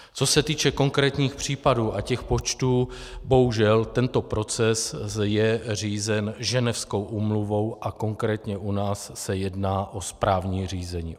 Co se týče konkrétních případů a těch počtů, bohužel tento proces je řízen Ženevskou úmluvou, a konkrétně u nás se jedná o správní řízení.